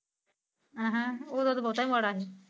ਅਹ ਓਦਾ ਤਾ ਬਹੁਤਾ ਮਾੜਾ ਸੀ।